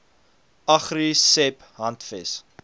agri seb handves